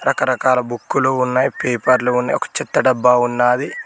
రకరకాల బుక్కులు ఉన్నాయ్ పేపర్లు ఉన్నాయ్ ఒక చెత్త డబ్బా ఉన్నాది.